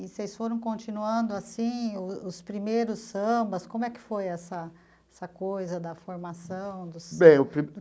E vocês foram continuando assim, os os primeiros sambas, como é que foi essa essa coisa da formação